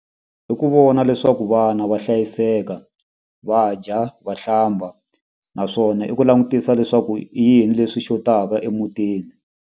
Hi ku vona leswaku vana va hlayiseka va dya va hlamba naswona i ku langutisa leswaku i yini leswi xotaka emutini.